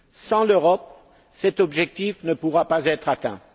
Sans l'Europe, cet objectif ne pourra pas être atteint.